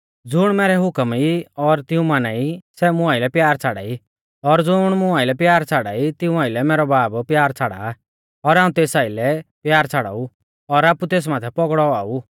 ज़ुण मैरै हुकम ई और तिऊं माना ई सै मुं आइलै प्यार छ़ाड़ाई और ज़ुण मुं आइलै प्यार छ़ाड़ाई तिऊं आइलै मैरौ बाब प्यार छ़ाड़ा और हाऊं तेस आइलै प्यार छ़ाड़ाऊ और आपु तेस माथै पौगड़ौ औआ ऊ